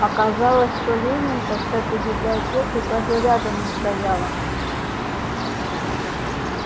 оказалось что ленинка с этой библиотекой даже рядом не стояла